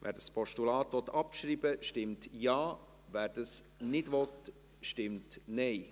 Wer dieses Postulat abschreiben will, stimmt Ja, wer das nicht will, stimmt Nein.